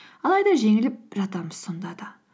алайда жеңіліп жатамыз сонда да